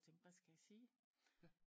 Og tænkte hvad skal jeg sige